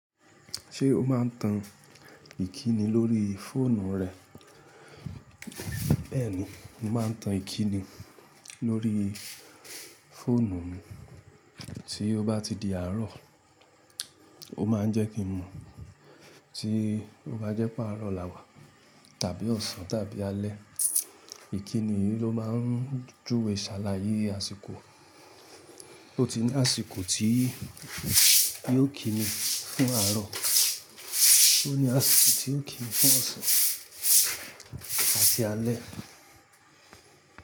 Ṣé o má n tan ìkíni lórí fóònù rẹ? Bẹ́ẹ̀ni, mo má n tan ìkíni lórí fóònù mi. Tí o bá ti di àárọ̀, ó má n jẹ́ kí n mu. Tí o bá jẹ́ páàrọ̀ làwà, tàbí ọ̀sán tàbí alẹ́, ìkíni yìí ló má n júwe sàlàyé àsìkò. Ó ti ní àsìkò tí yóò kíni fún àárọ̀, ó ní àsìkò tí yóò kíni fún ọ̀sán àti alẹ́.